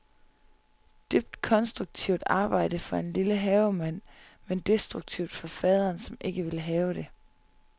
Dybt konstruktivt arbejde for en lille havemand, men destruktivt for faderen, som ikke vil have det.